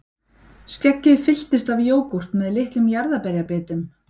Skeggið fylltist af jógúrt með litlum jarðarberjabitum